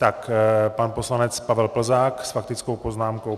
Tak pan poslanec Pavel Plzák s faktickou poznámkou.